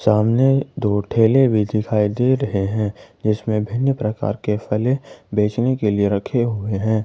सामने दो ठेले भी दिखाई दे रहे हैं जीसमें भिन्न प्रकार के फले बेचने के लिए रखे हुए हैं।